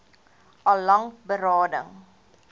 al lank berading